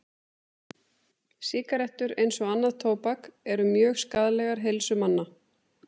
Sígarettur, eins og annað tóbak, eru mjög skaðlegar heilsu manna.